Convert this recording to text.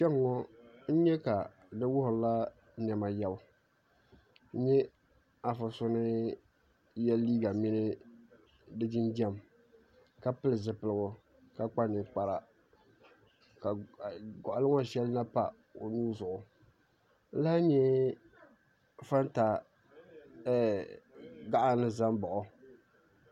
Kpɛŋɔ n yɛ ka di wuhiri la nɛma yiɛbu n yɛ afa so ni yiɛ liiga mini di jinjam ka pili zupiligu ka kpa ninkpara ka gɔɣili ŋɔ shɛli na pa o nuu zuɣu n lahi yɛa fanta gaɣa ni za n baɣi o.